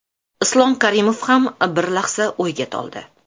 Islom Karimov ham bir lahza o‘yga toldi.